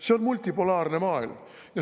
See on multipolaarne maailm.